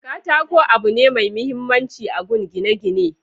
katako abu ne mai mahimmanci agun gine gine